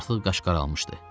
Artıq qaş qaralmışdı.